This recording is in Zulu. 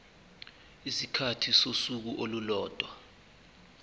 isikhathi sosuku olulodwa